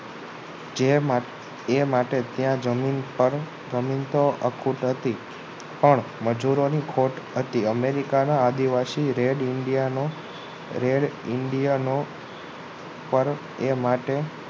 જેમાં તે માટે જમીન પર જમીન તો અખૂટ હતી પણ મજૂરોની ખોટ હતી. અમેરિકાના આદિવાસી red indian નો red indian નો પર એ માટે